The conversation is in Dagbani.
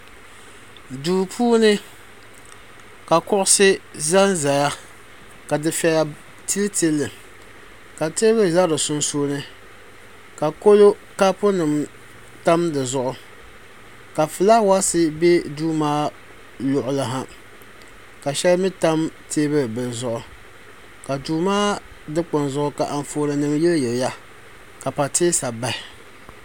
Duu puuni ka kuɣusi za n zaya ka dufɛya tili tili li ka tɛɛbuli za di sunsuuni ka kolo kapu nima tam di zuɣu ka flawaasi bɛ duu maa luɣili ha ka shɛli mi tam tɛɛbuli bila zuɣu ka duu maa dukpuni zuɣu ka anfooni nima yili yiliya ka patɛsa bahi.